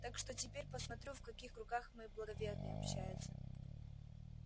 так что теперь посмотрю в каких кругах мой благоверный общается